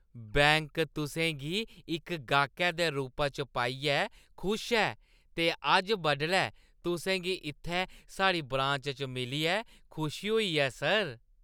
Bank तुसें गी इक गाह्कै दे रूपा च पाइयै खुश ऐ ते अज्ज बडलै तुसें गी इत्थै साढ़ी ब्रांच च मिलियै खुशी होई ऐ, सर!